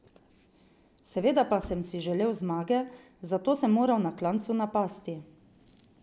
Seveda pa sem si želel zmage, zato sem moral na klancu napasti.